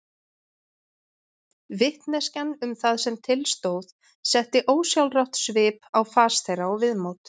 Vitneskjan um það sem til stóð setti ósjálfrátt svip á fas þeirra og viðmót.